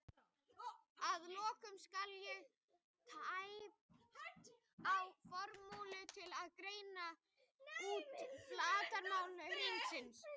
Að lokum skal hér tæpt á formúlu til að reikna út flatarmál þríhyrnings: